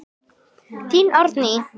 Þín, Árný.